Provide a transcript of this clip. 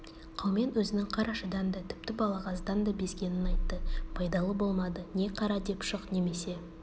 қаумен өзінің қарашадан да тіпті балағаздан да безгенін айтты байдалы болмады не қара деп шық немесе